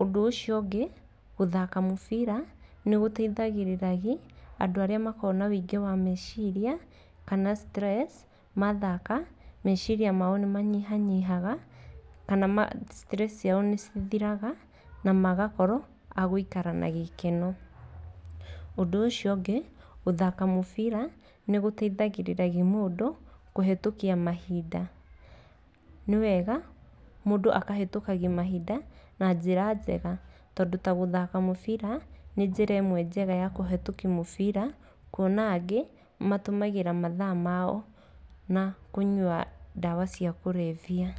Ũndũ ũcio ũngĩ gũthaka mũbira nĩ gũteithagĩrĩria andũ arĩa makoragwo na ũingĩ wa meciria kana stress. Mathaka, meciria mao nĩ manyihanyihaga kana stress ciao nĩ cithiraga na magakorwo a gũikara na gĩkeno. Ũndũ ũcio ũngĩ gũthaka mũbira nĩ gũteithagĩrĩria mũndũ kũhĩtũkia mahinda, nĩ wega mũndũ akahĩtũkagia mahinda na njĩra njega tondũ ta gũthaka mũbira nĩ njĩra ĩmwe njega ya kũhĩtũkia mũbira. Kuona angĩ matũmagĩra mathaa mao na kũnyua ndawa cia kũrebia.